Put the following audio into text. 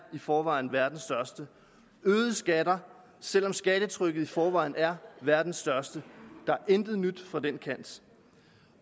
i forvejen er verdens største øgede skatter selv om skattetrykket i forvejen er verdens største der er intet nyt fra den kant